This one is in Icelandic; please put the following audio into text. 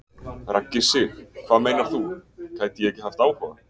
Raggi Sig: Hvað meinar þú, gæti ég ekki haft áhuga?